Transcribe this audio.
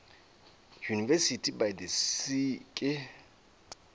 university by the sea ke